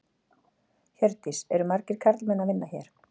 Hjördís: Eru margir karlmenn að vinna hér?